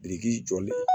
Biriki jɔlen